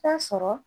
Taa sɔrɔ